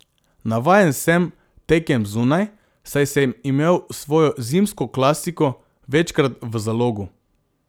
Navajen sem tekem zunaj, saj sem imel svojo zimsko klasiko večkrat v Zalogu.